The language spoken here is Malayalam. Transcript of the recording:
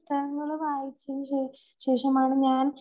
അങ്ങനെ വായിച്ചതിനുശേഷം, ശേഷമാണ് ഞാൻ